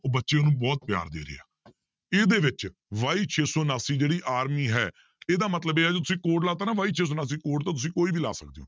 ਬੱਚੇ ਉਹਨੂੰ ਬਹੁਤ ਪਿਆਰ ਦੇ ਰਹੇ ਆ ਇਹਦੇ ਵਿੱਚ y ਛੇ ਸੌ ਉਣਾਸੀ ਜਿਹੜੀ army ਹੈ ਇਹਦਾ ਮਤਲਬ ਇਹ ਆ ਤੁਸੀ code ਲਾ ਦਿੱਤਾ ਨਾ y ਛੇ ਸੌ ਉਣਾਸੀ code ਤਾਂ ਤੁਸੀਂ ਕੋਈ ਵੀ ਲਾ ਸਕਦੇ ਹੋ